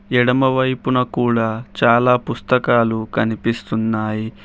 ఎడమ వైపున కూడా చాలా పుస్తకాలు కనిపిస్తున్నాయి.